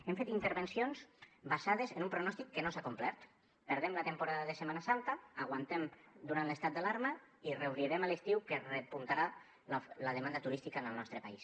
hem fet intervencions basades en un pronòstic que no s’ha complert perdem la temporada de setmana santa aguantem durant l’estat d’alarma i reobrirem a l’estiu que repuntarà la demanda turística en el nostre país